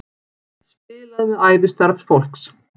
Spilað með ævistarf fólks